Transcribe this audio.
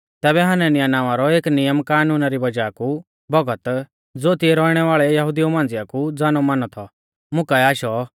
तैबै हनन्याह नावां रौ एक नियम कानूना री वज़ाह कु भौगत ज़ो तिऐ रौइणै वाल़ै यहुदिऊ मांझ़िया कु ज़ानौमानौ थौ मुकाऐ आशौ